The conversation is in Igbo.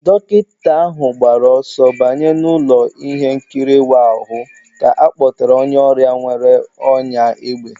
Dọkịta ahụ gbara ọsọ banye n'ụlọ ihe nkiri ịwa ahụ ka a kpọtara onye ọrịa nwere ọnyá égbè